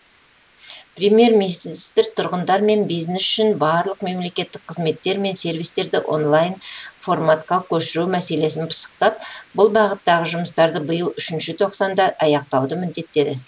премьер министр тұрғындар мен бизнес үшін барлық мемлекеттік қызметтер мен сервистерді онлайн форматқа көшіру мәселесін пысықтап бұл бағыттағы жұмыстарды биыл үшінші тоқсанда аяқтауды міндеттеді